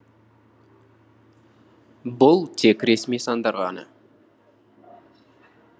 бұл тек ресми сандар ғана